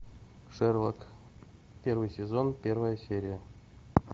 шерлок первый сезон первая серия